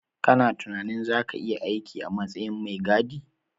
Kana tunanin zaka iya aiki a matsayin mai gadi